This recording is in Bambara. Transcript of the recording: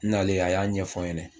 N nalen a y'a ɲɛ fɔ n ɲɛnɛ